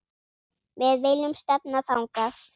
Við viljum stefna þangað.